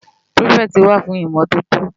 Pirifèti wá fún Imòtótó